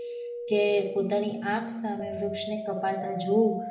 કે પોતાની આંખ સામે વૃક્ષ ને કપાતા જોવ